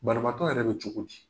Banabaatɔ yɛrɛ be cogo di?